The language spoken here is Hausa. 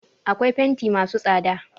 Akwai fenti masu tsada.